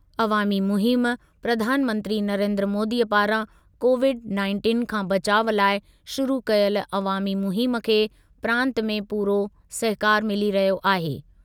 अवामी मुहिम, प्रधानमंत्री नरेंद्र मोदीअ पारां कोविड नाइंटिन खां बचाउ लाइ शुरू कयल अवामी मुहिम खे प्रांत में पूरो सहकारु मिली रहियो आहे।